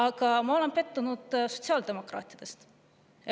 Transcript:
Ja ma olen pettunud sotsiaaldemokraatides.